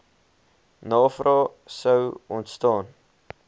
navrae sou ontstaan